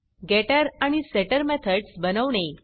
गेटर आणि setter methods बनवणे